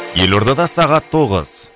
елордада сағат тоғыз